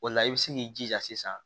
O la i bɛ se k'i jija sisan